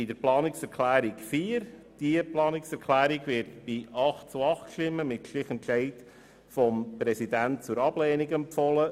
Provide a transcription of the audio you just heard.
Zu Planungserklärung 4: Diese wird bei 8 zu 8 Stimmen mit Stichentscheid des Präsidenten zur Ablehnung empfohlen.